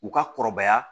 U ka kɔrɔbaya